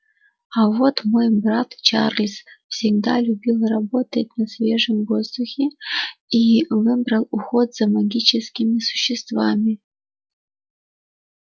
а вот мой брат чарльз всегда любил работать на свежем воздухе и выбрал уход за магическими существами